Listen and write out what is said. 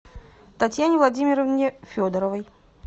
татьяне владимировне федоровой